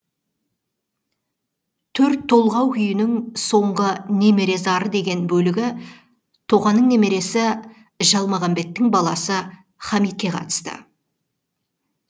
төрт толғау күйінің соңғы немере зары деген бөлігі тоқаның немересі жалмағамбеттің баласы хамитке қатысты